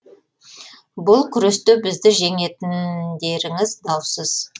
бұл күресте бізді жеңетіндеріңіз даусыз